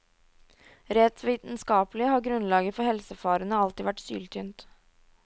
Rent vitenskapelig har grunnlaget for helsefarene alltid vært syltynt.